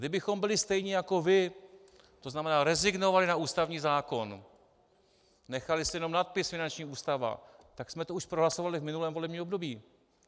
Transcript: Kdybychom byli stejní jako vy, to znamená, rezignovali na ústavní zákon, nechali si jenom nadpis finanční ústava, tak jsme to už prohlasovali v minulém volebním období.